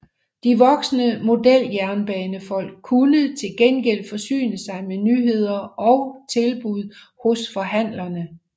De voksne modeljernbanefolk kunne til gengæld forsyne sig med nyheder og tilbud hos forhandlerne